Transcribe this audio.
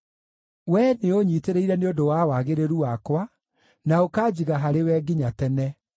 We nĩũũnyiitĩrĩire nĩ ũndũ wa wagĩrĩru wakwa, na ũkanjiga harĩwe nginya tene.